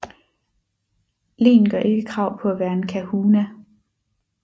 Len gør ikke krav på at være en kahuna